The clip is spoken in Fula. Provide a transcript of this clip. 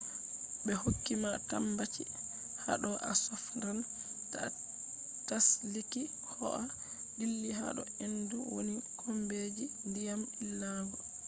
be hokki ma tambaci hado a sofnan ta a tsaliki koh a dilli hado hendu woni kombi je diyam illangol